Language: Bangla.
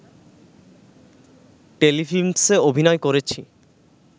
টেলিফিল্মসে অভিনয় করেছি